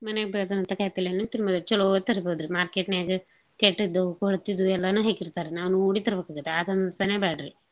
ಮನ್ಯಾಗ್ ಬೆಳ್ದಂತಾ ಕಾಯ್ಪಲ್ಲೇನೂ ತಿನ್ಬರಿ ಚಲೋದ್ ತರ್ಬೋದ್ರಿ. market ನ್ಯಾಗ ಕೆಟ್ಟದ್ದು ಕೊಳ್ತಿದ್ದು ಎಲ್ಲಾನೂ ಹಾತಿರ್ತಾರ್ರಿ. ನಾವ್ ನೋಡೆ ತರ್ಬಕಾಕತಿ. ಆದ್ ಬ್ಯಾಡ್ರಿ.